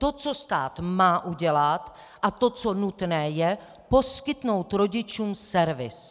To, co stát má udělat a to, co nutné je, poskytnout rodičům servis.